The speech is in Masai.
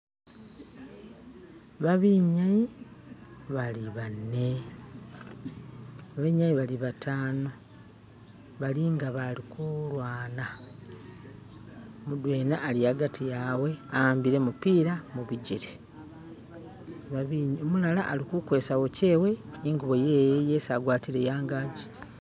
Abinyayi bali bane.. abinyayi bali batano balinga abali kulwana, mudwena ali agati wawe awambile gumupila mubigele, umulala alikukwesa uwashe ningubo yewe yesi agwatile angaji.